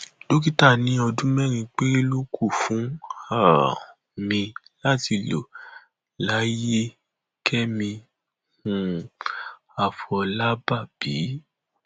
ẹgbẹ òṣèlú pdp láti ilẹ ibo béèrè fún igbákejì ààrẹ